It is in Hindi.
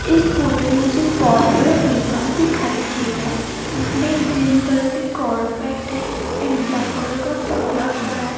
इस फोटो में मुझे एक बहोत बड़ा मैदान दिखाई दे है जिसमें ग्रीन कलर की कारपेट है एंड ब्लैक कलर का टायर पड़ा है।